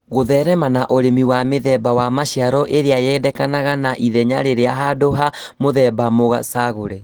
Gũtherema na ũrĩmi wa mĩthemba wa maciaro ĩrĩa yendekanaga na ithenya rĩariĩ handũ ha mũthemba mũcagũre